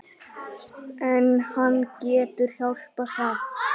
En hann getur hjálpað samt.